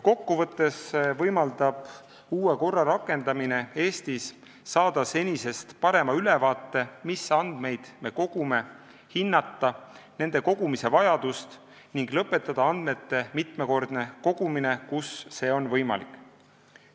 Uue korra rakendamine võimaldab Eestis saada senisest parema ülevaate, mis andmeid me kogume, hinnata nende kogumise vajadust ning lõpetada andmete mitmekordne kogumine, kus see on võimalik.